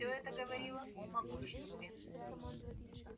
всё это говорило о могуществе